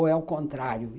Ou é o contrário?